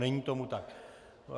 Není tomu tak.